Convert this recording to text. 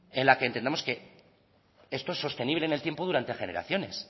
en la que entendamos que esto es sostenible en el tiempo durante generaciones